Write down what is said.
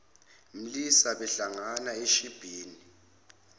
mlisa bahlangana eshibhini